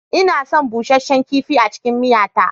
Ina son busheshen kifi a cikin miya ta.